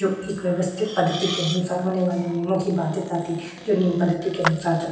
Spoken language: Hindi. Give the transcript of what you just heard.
जोकि व्यवस्थित पद्धति के अनुसार होने वाली नियमों की बातें तति जो न्यू पद्धति के अनुसार --